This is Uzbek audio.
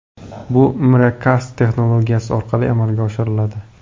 Bu Miracast texnologiyasi orqali amalga oshiriladi.